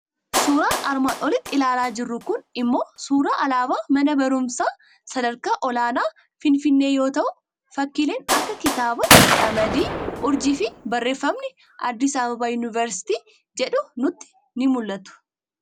Suuraan armaan olitti ilaalaa jirru kun immoo suuraa alaabaa mana barumsaa sadarkaa olaanaa Finfinnee yoo ta'u, fakkiileen akka kitaabaa, qamadii, urjii fi barreffammni "Addis Ababa University" jedhu nutti ni mul'atu.